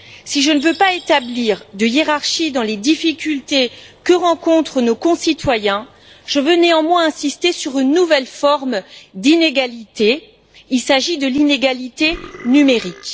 Si je ne veux pas établir de hiérarchie dans les difficultés que rencontrent nos concitoyens, je veux néanmoins insister sur une nouvelle forme d'inégalité il s'agit de l'inégalité numérique.